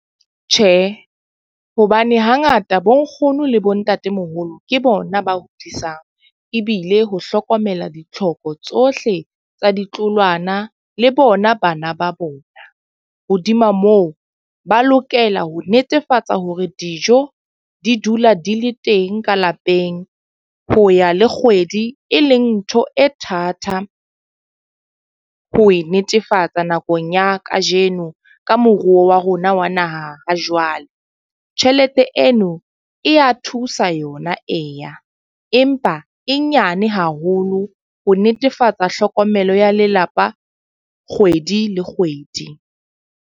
Tjhe, hobane hangata bo nkgono le bo ntatemoholo ke bona ba hodisang. Ebile ho hlokomela ditlhoko tsohle tsa ditloholwana le bona bana ba bona. Hodima moo, ba lokela ho netefatsa hore dijo di dula di le teng ka lapeng ho ya le kgwedi e leng ntho e thata ho e netefatsa nakong ya ka jeno ka moruo wa rona wa naha ha jwale. Tjhelete eno e ya thusa yona eya, empa e nyane haholo ho netefatsa tlhokomelo ya lelapa kgwedi le kgwedi.